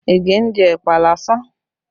Ige ń jẹ ẹ̀pà lásán